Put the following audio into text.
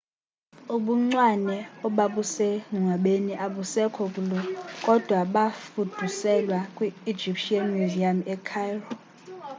ubuncwane obabusengcwabeni abusekho kulo kodwa bafuduselwa kwi-egyptian museum ecairo